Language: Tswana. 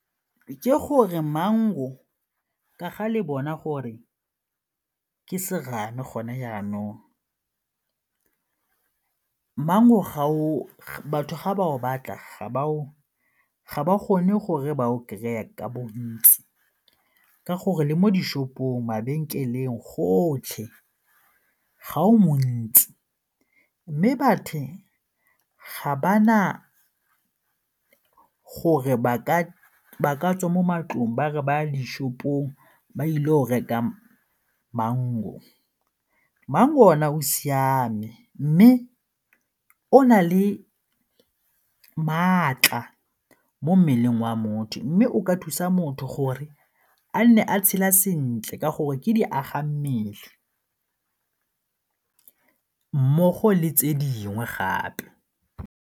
Ke gore mango ka ga le bona gore ke serame gone jaanong, mango batho ga ba go batla ga ba kgone gore ba o kry-e ka bontsi ka gore le mo di-shop-ong, mabenkeleng, gotlhe ga o montsi mme batho ka ga bana gore ba tswe mo matlong ba ba di-shop-ong ba ile o reka. Mango ona o siame mme o na le maatla mo mmeleng wa motho mme o ka thusa motho gore a nne a tshela sentle ka gore ke diagammele mmogo le tse dingwe gape.